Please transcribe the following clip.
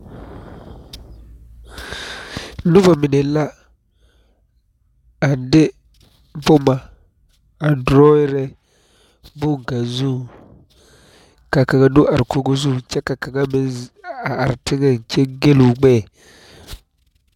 Noba mine la a de boma a drawing boŋ kaŋ zuŋ ka kaŋa do are Kogi zuŋ kyɛ ka kaŋa meŋ a are teŋa kyɛ gelo gbeɛ.